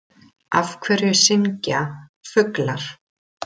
Af hverju syngja fuglar?